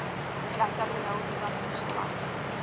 tlasa bolaodi ba mmuso wa